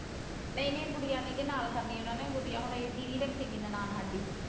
ਨਹੀਂ ਨਹੀਂ ਗੁੜੀਆ ਨਹੀਂ ਜੀ ਨਾਲ ਕਰਨੀ ਉਹਨਾਂ ਨੇ ਗੁੜੀਆ ਹੁਣ ਇਹ ਦੀਦੀ ਰੱਖੇਗੀ ਨਨਾਣ ਸਾਡੀ।